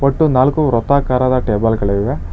ಮತ್ತು ನಾಲ್ಕು ವೃತ್ತಾಕಾರದ ಟೇಬಲ್ ಗಳಿವೆ.